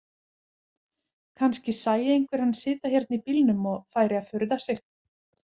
Kannski sæi einhver hann sitja hérna í bílnum og færi að furða sig.